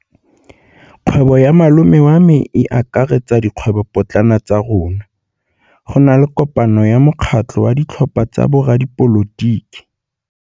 Kgwêbô ya malome wa me e akaretsa dikgwêbôpotlana tsa rona. Go na le kopanô ya mokgatlhô wa ditlhopha tsa boradipolotiki.